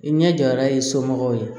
I ɲɛ jɔ ala ye somɔgɔw ye